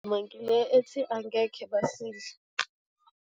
Ngile ethi, angeke basidle.